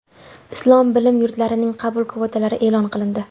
Islom bilim yurtlarining qabul kvotalari e’lon qilindi.